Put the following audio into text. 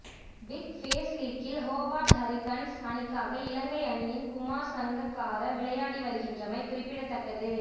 big bash லீக்கில் Hobart Hurricanes அணிக்காக இலங்கை அணியின் குமார் சங்கக்கார விளையாடி வருகின்றமை குறிப்பிடத்தக்கது